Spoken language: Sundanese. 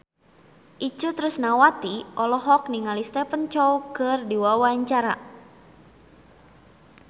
Itje Tresnawati olohok ningali Stephen Chow keur diwawancara